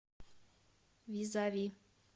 визави